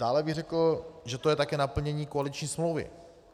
Dále bych řekl, že to je také naplnění koaliční smlouvy.